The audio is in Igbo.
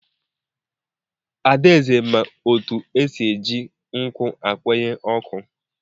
Adaeze ma otu esi eji nkụ akwanye ọkụ.